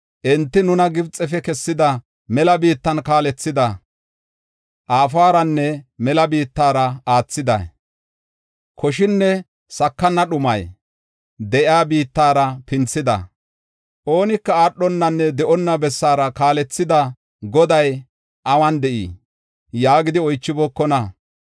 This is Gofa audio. Enti, “Nuna Gibxefe kessida, mela biittan kaalethida, aaforanne mela biittara aathida, koshinne sakana dhumi de7iya biittara pinthida, oonika aadhonanne de7onna bessara kaalethida Goday awun de7ii?” yaagidi oychibookona.